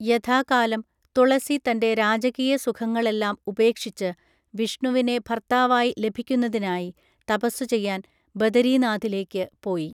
യഥാകാലം, തുളസി തൻ്റെ രാജകീയ സുഖങ്ങളെല്ലാം ഉപേക്ഷിച്ച് വിഷ്ണുവിനെ ഭർത്താവായി ലഭിക്കുന്നതിനായി തപസ്സുചെയ്യാൻ ബദരീനാഥിലേക്ക് പോയി.